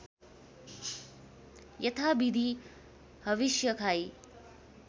यथाविधि हविष्य खाई